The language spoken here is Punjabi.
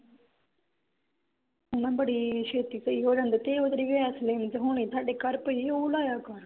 ਹਨਾਂ ਬੜੀ ਛੇਤੀ ਕਈ ਹੋ ਜਾਂਦੇ ਤੇ ਉਹ ਜਿਹੜੀ ਵੈਸਲੀਨ ਤੇ ਹੋਣੀ ਥੋਡੇ ਘਰ ਪਈ ਉਹ ਲਾਇਆ ਕਰ